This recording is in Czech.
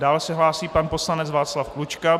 Dále se hlásí pan poslanec Václav Klučka.